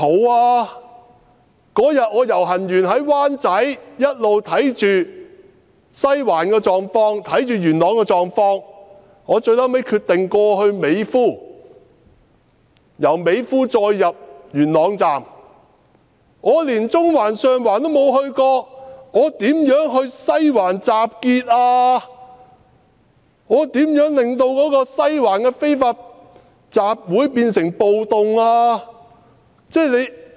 我當天遊行之後，在灣仔一直留意西環和元朗的狀況，我最後決定由美孚入元朗站，我連中環、上環都沒有到過，如何在西環集結，又如何令西環的非法集會變成暴動？